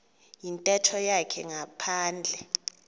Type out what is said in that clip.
yintetho yakhe ngaphandle